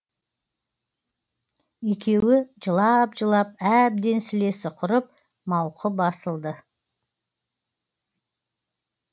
екеуі жылап жылап әбден сілесі құрып мауқы басылды